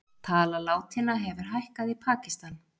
Tala látinna hefur hækkað í Pakistan